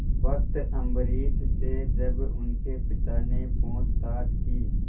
भक्त अम्बरीश से जब उनके पिता ने पूछताछ की